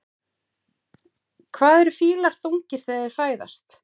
Hvað eru fílar þungir þegar þeir fæðast?